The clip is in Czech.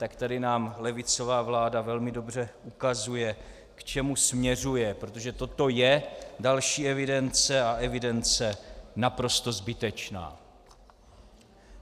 Tak tady nám levicová vláda velmi dobře ukazuje, k čemu směřuje, protože toto je další evidence a evidence naprosto zbytečná.